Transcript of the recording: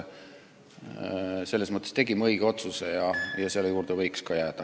Selles mõttes tegime õige otsuse ja selle juurde võiks ka jääda.